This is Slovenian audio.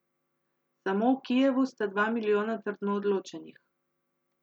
Samo v Kijevu sta dva milijona trdno odločenih.